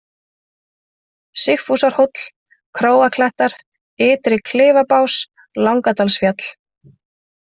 Sigfúsarhóll, Króaklettar, Ytri-Klifabás, Langadalsfjall